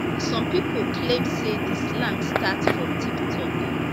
some pipo claim say di slang start for tiktok